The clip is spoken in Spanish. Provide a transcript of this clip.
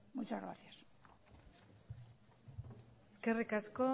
muchas gracias eskerrik asko